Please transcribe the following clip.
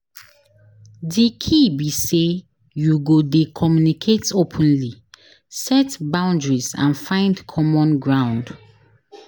Di key be say you go dey communicate openly, set boundaries and find common ground.